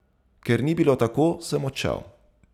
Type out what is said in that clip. Ker ni bilo tako, sem odšel.